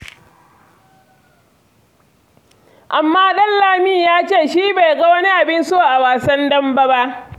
Amma Ɗanlami ya ce shi bai ga wani abin so a wasan dambe ba.